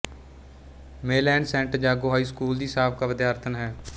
ਮੇਲੈਨ saint Jago high school ਦੀ ਸਾਬਕਾ ਵਿਦਿਆਰਥਣ ਹੈ